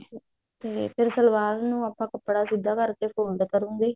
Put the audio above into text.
ਫ਼ੇਰ ਸਲਵਾਰ ਨੂੰ ਆਪਾਂ ਕੱਪੜਾ ਸਿੱਧਾ ਕਰਕੇ fold ਕਰਾਂਗੇ